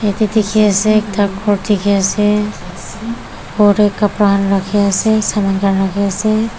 yate dikhi ase ekta ghor dikhi ase ghor kapra khan rakhi ase saman khan rakhi ase.